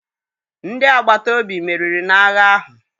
Ndị agbata obi meriri n'agha ahụ.